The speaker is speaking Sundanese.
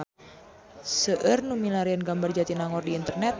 Seueur nu milarian gambar Jatinangor di internet